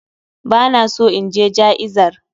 Bana so inje ja'izar